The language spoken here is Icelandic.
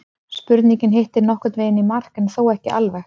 spurningin hittir nokkurn veginn í mark en þó ekki alveg